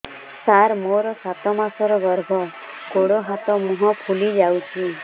ସାର ମୋର ସାତ ମାସର ଗର୍ଭ ଗୋଡ଼ ହାତ ମୁହଁ ଫୁଲି ଯାଉଛି